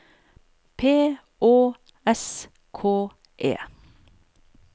P Å S K E